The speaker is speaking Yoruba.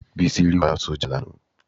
Bísí rí wàhálà sójà lánàá